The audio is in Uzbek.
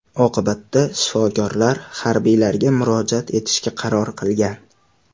Oqibatda shifokorlar harbiylarga murojaat etishga qaror qilgan.